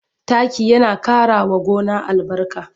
Taki yana ƙarawa gona albarka.